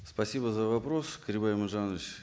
спасибо за вопрос карибай иманжанович